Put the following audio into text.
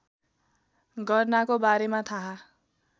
गर्नाको बारेमा थाहा